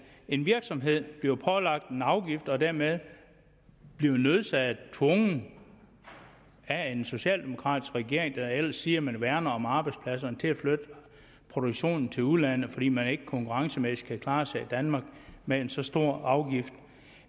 en virksomhed bliver pålagt en afgift og dermed bliver tvunget af en socialdemokratisk regering der ellers siger at man værner om arbejdspladserne til at flytte produktionen til udlandet fordi man ikke konkurrencemæssigt kan klare sig i danmark med en så stor afgift